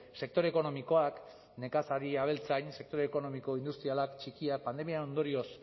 sektore ekonomikoak nekazari abeltzain sektore ekonomiko industrialak txikiak pandemiaren ondorioz